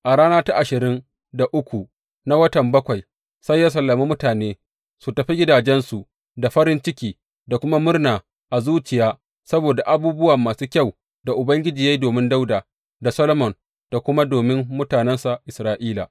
A rana ta ashirin da uku na watan bakwai sai ya sallami mutane su tafi gidajensu da farin ciki da kuma murna a zuciya saboda abubuwa masu kyau da Ubangiji ya yi domin Dawuda da Solomon da kuma domin mutanensa Isra’ila.